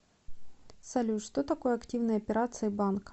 салют что такое активные операции банка